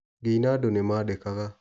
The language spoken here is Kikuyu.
Ngĩ ina andũ nĩmandĩkaga.